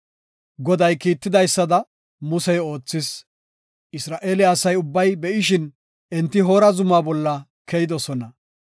Goday kiitidaysada Musey oothis; Isra7eele asa ubbay be7ishin, enti Hoora zuma bolla keyidosona.